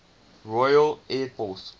royal air force